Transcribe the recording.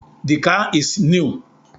The car is new